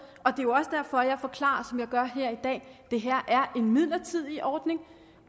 det er jo også derfor jeg forklarer som jeg gør her i dag at det her er en midlertidig ordning